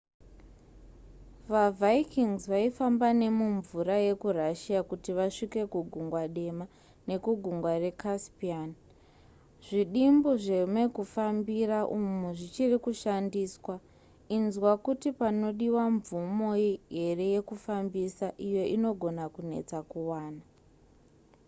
vavikings vaifamba nemumvura yekurussia kuti vasvike kugungwa dema nekugungwa recaspian zvidimbu zvemekufambira umu zvichiri kushandiswa inzwa kuti panodiwa mvumo here yekufambisa iyo inogona kunetsa kuwana